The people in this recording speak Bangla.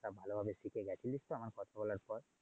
তা ভালোভাবে শিখে গেছিলিস তো আমার কথা বলার পর?